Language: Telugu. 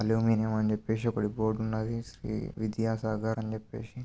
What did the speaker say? అల్యూమినియం అని చెప్పేసి ఒకటి బోర్డు ఉన్నది. ఈ విద్యాసాగర్ అని చెప్పేసి.